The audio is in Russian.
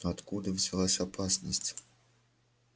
но откуда взялась опасность